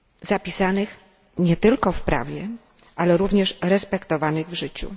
zapisanych nie tylko w prawie, ale również respektowanych w życiu.